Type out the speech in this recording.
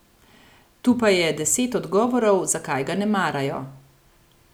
Tu pa je deset odgovorov, zakaj ga ne marajo.